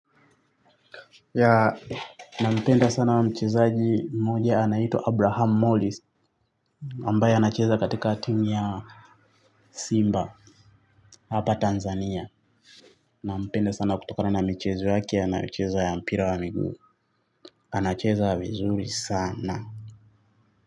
Ya, nampenda sana wa mchezaji mmoja, anaitwa Abraham Morris, ambaye anacheza katika timu ya Simba, hapa Tanzania. Nampenda sana kutokano na michezo yake, anayocheza ya mpira wa miguu, anacheza vizuri sana.